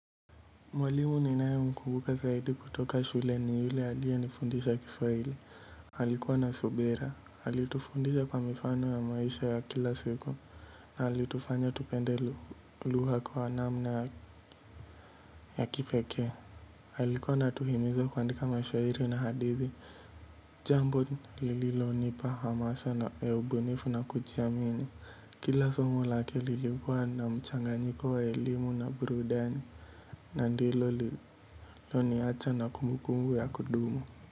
Mwalimu ninaye mkumbuka zaidi kutoka shule ni yule alie nifundisha kiswahili alikuwa na subira alitufundisha kwa mifano ya maisha ya kila siku na alitufanya tupende lugha kwa namna ya kipekee alikuwa anatuhimiza kuandika mashairi na hadithi jambo lililo nipa hamasa na ubunifu na kujiamini kila somo lake lilikuwa na mchanganyiko wa elimu na burudani. Na ndilo lililo niacha na kumbukumbu ya kudumu.